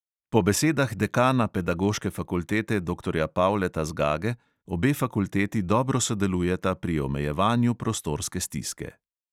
Po besedah dekana pedagoške fakultete, doktorja pavleta zgage, obe fakulteti dobro sodelujeta pri omejevanju prostorske stiske.